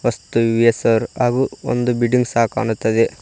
ವಸ್ತು ಇವೆ ಸರ್ ಹಾಗು ಒಂದು ಬಿಲ್ಡಿಂಗ್ ಸಹ ಕಾಣುತ್ತದೆ.